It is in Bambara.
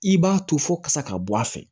I b'a to fo kasa ka bɔ a fɛ